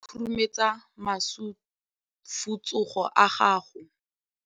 Matsogo a makhutshwane a khurumetsa masufutsogo a gago.